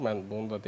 Mən bunu da deyim.